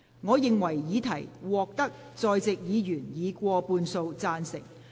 我認為議題獲得在席議員以過半數贊成。